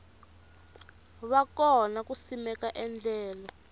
va kona ku simeka endlelo